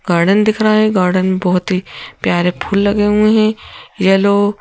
Garden दिख रहा है गार्डन बहोत ही प्यारे फूल लगे हुए हैं येलो।